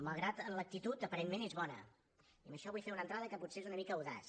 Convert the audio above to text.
malgrat que l’actitud aparentment és bona i amb això vull fer una entrada que potser és una mica audaç